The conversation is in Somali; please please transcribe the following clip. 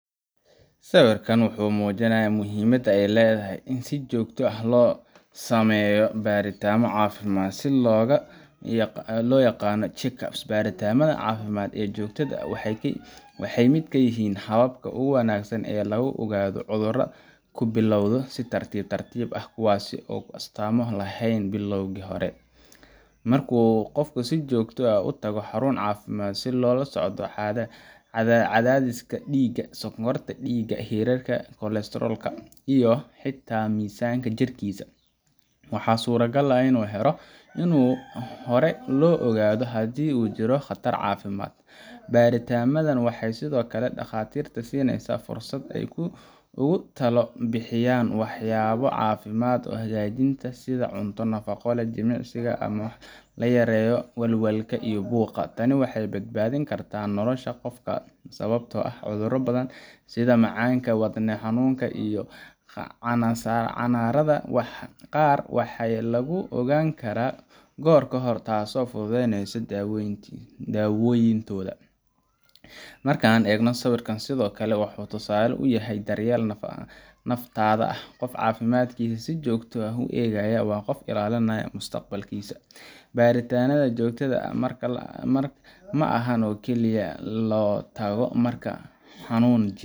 Sawirkan wuxuu muujinayaa muhiimadda ay leedahay in si joogto ah loo sameeyo baaritaanno caafimaad, taas oo loo yaqaan check-up. Baaritaannada caafimaad ee joogtada ah waxay ka mid yihiin hababka ugu wanaagsan ee lagu ogaado cudurro ku bilowda si tartiib tartiib ah, kuwaas oo aan astaamo laheyn bilowgii hore. Marka qofku uu si joogto ah u tago xarun caafimaad si loola socdo cadaadiska dhiigga, sonkorta dhiigga, heerka kolestaroolka, iyo xitaa miisaanka jirkiisa, waxaa suurtagal ah in si hore loo ogaado haddii uu jiro khatar caafimaad. Baaritaannadan waxay sidoo kale dhakhaatiirta siiyaan fursad ay ugu talo bixiyaan waxyaabo caafimaadka hagaajinaya sida cunto nafaqo leh, jimicsi, ama in la yareeyo walwalka iyo buuqa. Tani waxay badbaadin kartaa nolosha qofka, sababtoo ah cudurro badan sida macaanka, wadne xanuunka, iyo kansarrada qaar ayaa lagu ogaan karaa goor hore, taasoo fududeysa daaweyntooda. Marka aan eegno sawir sidan oo kale ah, waxa uu tusaale u yahay daryeel naftaada ah – qofka caafimaadkiisa si joogto ah u eegaya waa qof ilaalinaya mustaqbalkiisa. Baaritaannada joogtada ah maaha in kaliya loo tago marka xanuun jiro